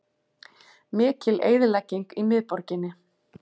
Mikil eyðilegging í miðborginni